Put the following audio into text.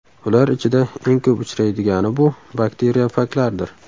Ular ichida eng ko‘p uchraydigani bu – bakteriofaglardir.